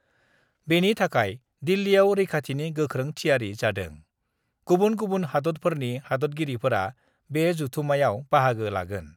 बेनि थाखाय दिल्लीयाव रैखाथिनि गोख्रों थियारि जादों गुबुन गुबुन हादतफोरनि हादतगिरिफोरा बे जथुमायाव बाहागो लागोन।